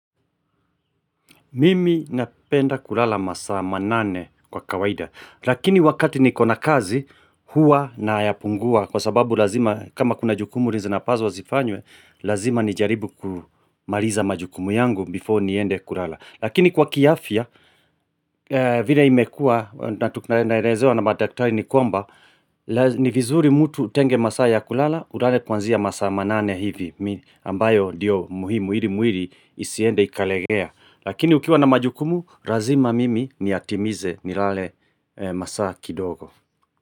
Mimi napenda kulala masaa ma nane kwa kawaida. Lakini wakati niko na kazi, huwa na yapungua. Kwa sababu lazima, kama kuna jukumu zinapaswa zifanywe, lazima nijaribu kumaliza majukumu yangu before niende kulala. Lakini kwa kiafia, vile imekua, naelezewa na madaktari nikwamba, ni vizuri mutu utenge masaa ya kulala, ulale kwanzia masaa ma nane hivi. Ambayo diyo muhimu, ili mwili, isiende ikalegea. Lakini ukiwa na majukumu, lazima mimi ni yatimize nilale masaa kidogo.